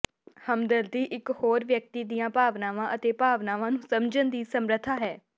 ਹਮਦਰਦੀ ਇਕ ਹੋਰ ਵਿਅਕਤੀ ਦੀਆਂ ਭਾਵਨਾਵਾਂ ਅਤੇ ਭਾਵਨਾਵਾਂ ਨੂੰ ਸਮਝਣ ਦੀ ਸਮਰੱਥਾ ਹੈ